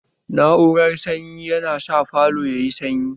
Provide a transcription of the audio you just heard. Na'urar sanyi yana sa falo yayi sanyi